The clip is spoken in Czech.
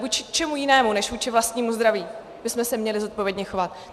Vůči čemu jinému než vůči vlastnímu zdraví bychom se měli zodpovědně chovat?